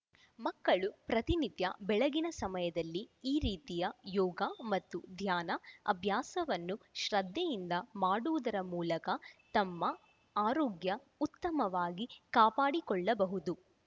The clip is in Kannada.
ಮಕ್ಕಳು ಪ್ರತಿನಿತ್ಯ ಬೆಳಗಿನ ಸಮಯದಲ್ಲಿ ಈ ರೀತಿಯ ಯೋಗ ಮತ್ತು ಧ್ಯಾನ ಅಭ್ಯಾಸವನ್ನು ಶ್ರದ್ಧೆಯಿಂದ ಮಾಡುವುದರ ಮೂಲಕ ತಮ್ಮ ಆರೋಗ್ಯ ಉತ್ತಮವಾಗಿ ಕಾಪಾಡಿಕೊಳ್ಳಬಹುದು